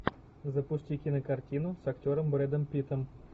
запусти кинокартину с актером брэдом питтом